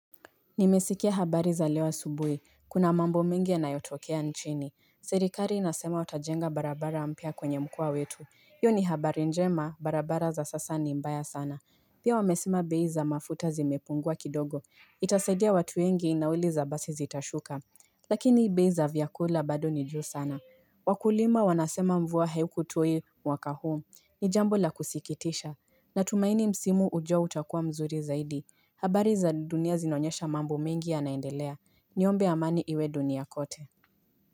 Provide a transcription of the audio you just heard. Nimesikia habari za leo asubuhi. Kuna mambo mengi yanayotokea nchini. Serikali inasema watajenga barabara mpya kwenye mkoa wetu. Hiyo ni habari njema, barabara za sasa ni mbaya sana. Pia wamesema bei za mafuta zimepungua kidogo. Itasaidia watu wengi nauli za basi zitashuka. Lakini bei za vyakula bado ni juu sana. Wakulima wanasema mvua haiko tu hii, mwaka huu. Ni jambo la kusikitisha. Natumaini msimu ujao utakuwa mzuri zaidi. Habari za dunia zinaonyesha mambo mengi yanaendelea, niombe amani iwe dunia kote.